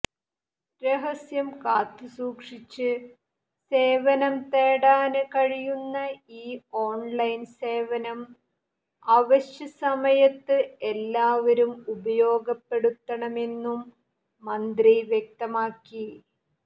രഹസ്യം കാത്തു സൂക്ഷിച്ച് സേവനം തേടാന് കഴിയുന്ന ഈ ഓണ്ലൈന് സേവനം അവശ്യ സമയത്ത് എല്ലാവരും ഉപയോഗപ്പെടുത്തണമെന്നും മന്ത്രി വ്യക്തമാക്കി